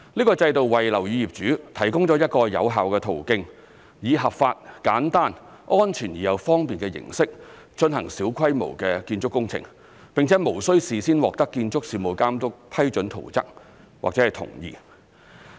該制度為樓宇業主提供一個有效的途徑，以合法、簡單、安全而又方便的形式進行小規模建築工程，並且無須事先獲得建築事務監督批准圖則或同意。